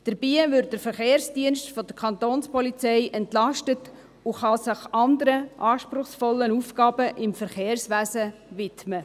Dabei wird der Verkehrsdienst der Kantonspolizei entlastet, und er kann sich anderen, anspruchsvollen Aufgaben im Verkehrswesen widmen.